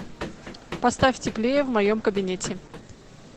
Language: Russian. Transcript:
поставь теплее в моем кабинете